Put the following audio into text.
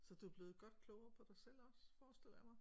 Så du er blevet godt klogere på dig selv også forestiller jeg mig?